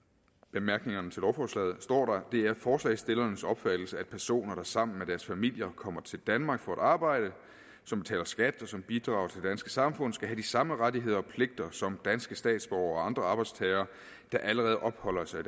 bemærkningerne til lovforslaget står der det er forslagsstillernes opfattelse at personer der sammen med deres familier kommer til danmark for at arbejde som betaler skat og som bidrager samfund skal have de samme rettigheder og pligter som danske statsborgere og andre arbejdstagere der allerede opholder sig i